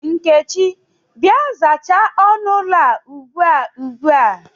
Nkechi, Bịa, zachaa ọnụ ụlọ a ubua ubua!